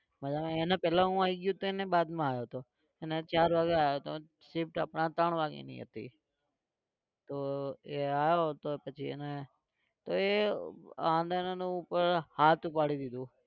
બરાબર એના પહેલા હું આવી ગયો હતો અને એ बाद માં આવ્યો હતો એને ચાર વાગે આવ્યો હતો. shift આપણે ત્રણ વાગેની હતી. તો એ આવ્યો તો પછી એને તો એ ઉપર હાથ ઉપાડી દીધો.